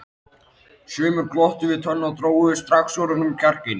Sumir glottu við tönn og drógu strax úr honum kjarkinn.